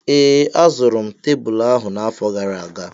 Ee, azụrụ m tebụl ahụ na-afo gara aga